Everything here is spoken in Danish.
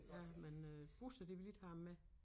Ja men øh busser de vil ikke have ham med